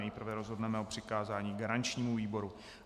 Nejprve rozhodneme o přikázání garančnímu výboru.